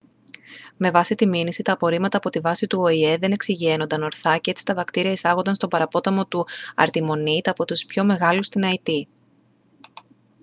με βάση τη μήνυση τα απορρίμματα από τη βάση του οηε δεν εξυγιαίνονταν ορθά και έτσι τα βακτήρια εισάγονταν στον παραπόταμο του αρτιμονίτ από τους πιο μεγάλους στην αϊτή